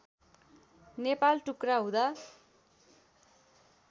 नेपाल टुक्रा हुँदा